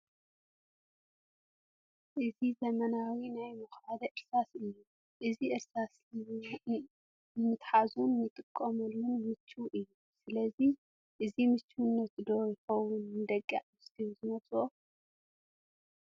እዚ ዘመናዊ ናይ መኲሓሊ እርሳስ እዩ፡፡ እዚ እርሳስ ንምትሓዙን ንኣጠቓቕሙን ምቹው እዩ፡፡ ስለዚ እዚ ምቹውነቱ ዶ ይኸውን ደቂ ኣንስትዮ ዝመርፀኦ?